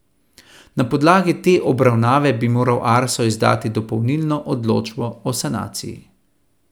Na podlagi te obravnave bi moral Arso izdati dopolnilno odločbo o sanaciji.